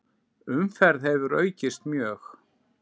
Umferð hefur aukist mjög.